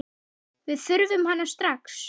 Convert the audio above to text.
Við þurfum hana strax.